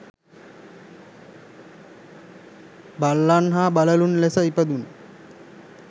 බල්ලන් හා බළලූන් ලෙස ඉපදුන